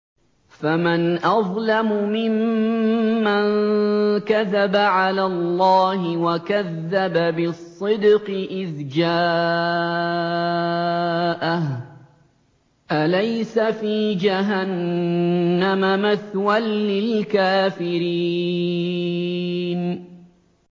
۞ فَمَنْ أَظْلَمُ مِمَّن كَذَبَ عَلَى اللَّهِ وَكَذَّبَ بِالصِّدْقِ إِذْ جَاءَهُ ۚ أَلَيْسَ فِي جَهَنَّمَ مَثْوًى لِّلْكَافِرِينَ